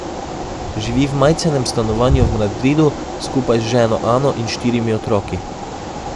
Živi v majcenem stanovanju v Madridu skupaj z ženo Ano in štirimi otroki.